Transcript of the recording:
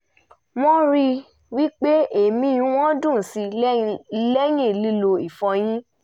wọ́n rí i pé èémí wọn dùn síi lẹ́yìn lílo ìfọyín